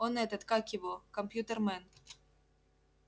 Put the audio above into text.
он этот как его компьютермен